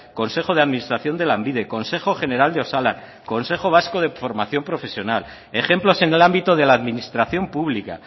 consejo de administración de lanbide consejo general de osalan consejo vasco de formación profesional ejemplos en el ámbito de la administración pública